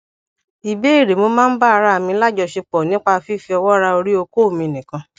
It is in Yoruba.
ìbéèrè mo máa ń ba ara mi lajosepo nípa fífi owo ra ori oko mi nikan